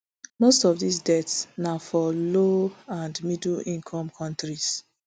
most of dis deaths na for low and middle income kontris